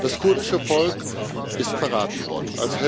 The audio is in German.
Das kurdische Volk ist verraten worden.